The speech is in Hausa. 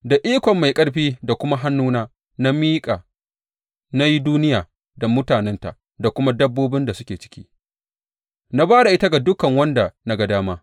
Da ikon mai ƙarfi da kuma hannuna da na miƙa na yi duniya da mutanenta da kuma dabbobin da suke ciki, na ba da ita ga duk wanda na ga dama.